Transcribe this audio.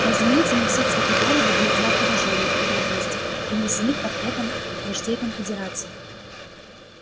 разумеется не все цветы города были в знак уважения и преданности принесены к портретам вождей конфедерации